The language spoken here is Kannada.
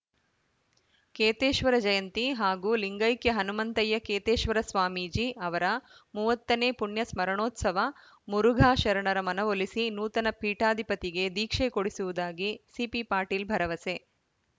ಕೇತೇಶ್ವರ ಜಯಂತಿ ಹಾಗೂ ಲಿಂಗೈಕ್ಯ ಹನುಮಂತಯ್ಯ ಕೇತೇಶ್ವರ ಸ್ವಾಮೀಜಿ ಅವರ ಮೂವತ್ತ ನೇ ಪುಣ್ಯ ಸ್ಮರಣೋತ್ಸವ ಮುರುಘಾ ಶರಣರ ಮನವೊಲಿಸಿ ನೂತನ ಪೀಠಾಧಿಪತಿಗೆ ದೀಕ್ಷೆ ಕೊಡಿಸುವುದಾಗಿ ಸಿಪಿ ಪಾಟೀಲ್‌ ಭರವಸೆ